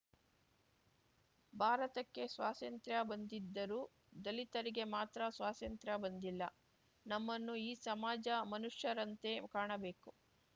ಭಾರತಕ್ಕೆ ಸ್ವಾಸಂತ್ರ್ಯ ಬಂದಿದ್ದರೂ ದಲಿತರಿಗೆ ಮಾತ್ರ ಸ್ವಾಸಂತ್ರ್ಯ ಬಂದಿಲ್ಲ ನಮ್ಮನ್ನು ಈ ಸಮಾಜ ಮನುಷ್ಯರಂತೆ ಕಾಣಬೇಕು